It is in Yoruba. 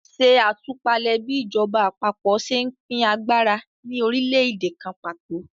Ṣe àtúpalẹ̀ bí ìjọba àpapọ̀ ṣe ń pín agbára ní orílẹ̀-èdè kan pàtó.